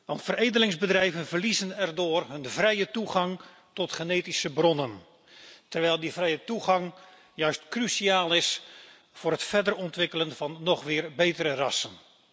Want veredelingsbedrijven verliezen daardoor hun vrije toegang tot genetische bronnen, terwijl die vrije toegang juist cruciaal is voor het verder ontwikkelen van nog weer betere rassen.